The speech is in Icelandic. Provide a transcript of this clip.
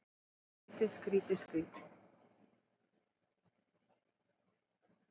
Skrýtið, skrýtið, skrýtið.